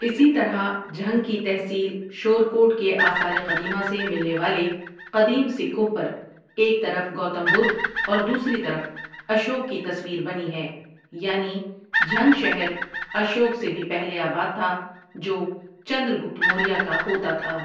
اسی طرح جھنگ کی تحصیل شورکوٹ کے آثارِقدیمہ سے ملنے والے قدیم سِکوں پر ایک طرف گوتم بدھ اور دوسری طرف اشوک کی تصویر بنی ہے یعنی جھنگ شہر اشوک سے بھی پہلے آباد تھا جو چندر گپت موریا کا پوتا تھا۔